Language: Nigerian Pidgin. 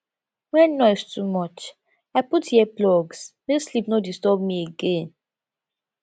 when noise too much i put earplugs make sleep no disturb me again